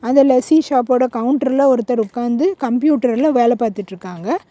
அந்த லஸ்ஸி ஷாப்போட கவுண்டர்ல ஒருத்தர் உக்காந்து கம்ப்யூட்டர்ல வேல பார்த்திட்டிருக்காங்க.